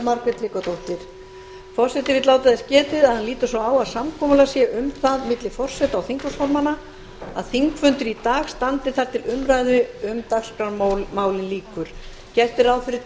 forseti vill láta þess getið að hann lítur svo á að samkomulag sé um það milli forseta og þingflokksformanna að þingfundur í dag standi þar til umræðu um dagskrármálin lýkur gert er ráð fyrir